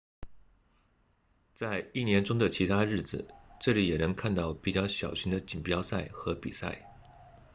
在一年中的其他日子这里也能看到比较小型的锦标赛和比赛